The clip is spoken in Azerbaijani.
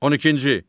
12-ci.